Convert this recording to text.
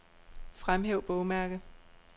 Fremhæv bogmærke.